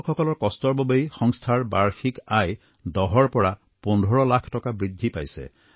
কৃষকসকলৰ কষ্টৰ বাবেই সংস্থাৰ বাৰ্ষিক আয় দহৰ পৰা পোন্ধৰ লাখ টকা বৃদ্ধি পাইছে